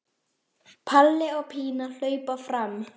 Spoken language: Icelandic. Palli og Pína hlaupa fram.